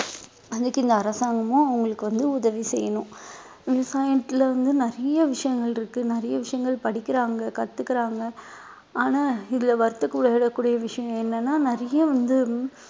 அதுக்கு இந்த அரசாங்கமும் அவங்களுக்கு வந்து உதவி செய்யணும் விவசாயத்துல வந்து நிறைய விஷயங்கள் இருக்கு நிறைய விஷயங்கள் படிக்கிறாங்க கத்துக்குறாங்க ஆனா இதுல வருத்தப்படக்கூடிய விஷயம் என்னன்னா நிறைய வந்து